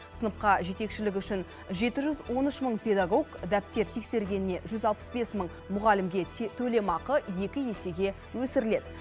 сыныпқа жетекшілігі үшін жеті жүз он үш мың педагог дәптер тексергеніне жүз алпыс бес мың мұғалімге төлемақы екі есеге өсіріледі